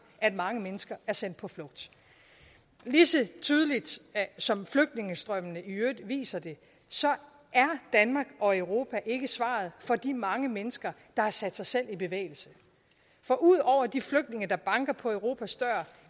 at mange mennesker er sendt på flugt lige så tydeligt som flygtningestrømmene i øvrigt viser det er danmark og europa ikke svaret for de mange mennesker der har sat sig selv i bevægelse for ud over de flygtninge der banker på europas dør